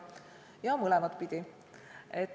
Ja mõlemat pidi.